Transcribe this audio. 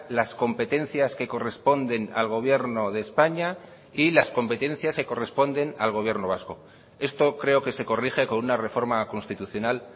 las competencias que corresponden al gobierno de españa y las competencias que corresponden al gobierno vasco esto creo que se corrige con una reforma constitucional